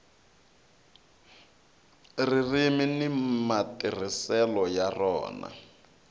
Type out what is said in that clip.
ririmi ni matirhiselo ya rona